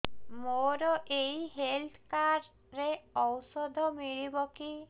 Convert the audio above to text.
ମୋର ଏଇ health card ରେ ଔଷଧ ମିଳିବ କି